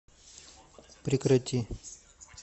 прекрати